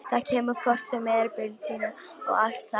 Þetta kemur hvort sem er, byltingin og allt það.